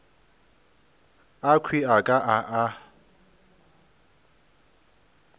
akhwi a ka a a